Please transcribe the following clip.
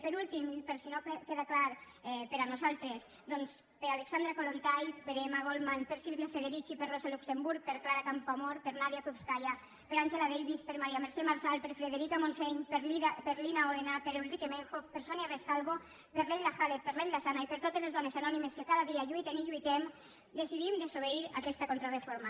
per últim i per si no queda clar per nosaltres doncs per alexandra kollontai per emma goldman per silvia federici per rosa luxemburg per clara campoamor per nadia krupskaia per angela davis per maria mercè marçal per frederica montseny per lina òdena per ulrike meinhof per sonia rescalvo per leila khaled per leyla zana i per totes les dones anònimes que cada dia lluiten i lluitem decidim desobeir aquesta contrareforma